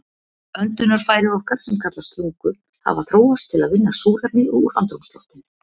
Öndunarfæri okkar, sem kallast lungu, hafa þróast til að vinna súrefni úr andrúmsloftinu.